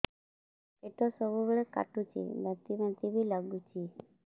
ପେଟ ସବୁବେଳେ କାଟୁଚି ବାନ୍ତି ବାନ୍ତି ବି ଲାଗୁଛି